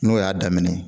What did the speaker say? N'o y'a daminɛ